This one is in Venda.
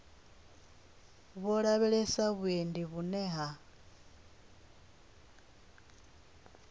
vho lavhelesa vhuendi vhune ha